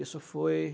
Isso foi